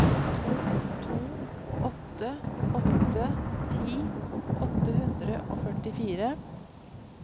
to to åtte åtte ti åtte hundre og førtifire